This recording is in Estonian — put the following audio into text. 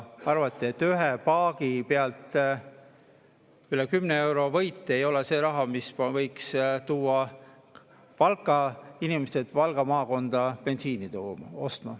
Arvati, et paagi pealt üle 10 euro suurune võit ei ole see raha, mis võiks tuua Valka inimesed Valga maakonda bensiini ostma.